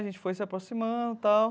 A gente foi se aproximando tal.